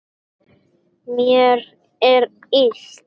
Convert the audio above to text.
Mér er illt.